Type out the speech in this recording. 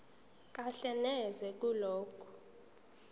kahle neze kulokho